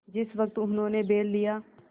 जिस वक्त उन्होंने बैल लिया